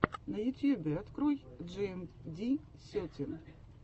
в ютьюбе открой джиэмди сетин